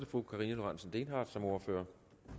fru karina lorentzen dehnhardt som ordfører